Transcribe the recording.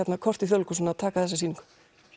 kort í Þjóðleikhúsinu að taka þessa sýningu